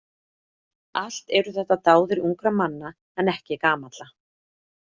Allt eru þetta dáðir ungra manna en ekki gamalla.